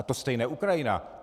A to stejné Ukrajina.